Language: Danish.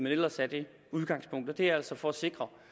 ellers er det udgangspunktet og det er altså for at sikre